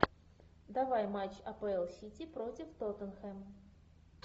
давай матч апл сити против тоттенхэм